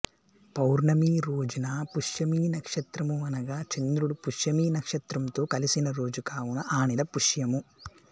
పౌర్ణమి రోజున పుష్యమి నక్షత్రము అనగా చంద్రుడు పుష్యమీ నక్షత్రంతో కలిసిన రోజు కావున ఆ నెల పుష్యము